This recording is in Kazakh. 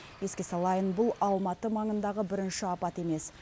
еске салайын бұл алматы маңындағы бірінші апат емес